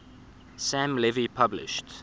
sam levy published